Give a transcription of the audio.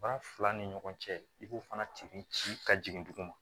Ba fila ni ɲɔgɔn cɛ i b'o fana tigi ci ka jigin dugu ma